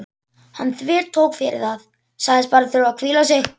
Hann þvertók fyrir það, sagðist bara þurfa að hvíla sig.